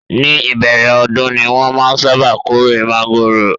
Ní ìbẹ̀rẹ̀ ọdún ni wọ́n máa ń sábà kórè mángòrò